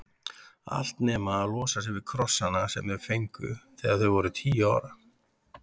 Allt nema að losa sig við krossana sem þau fengu þegar þau voru tíu ára.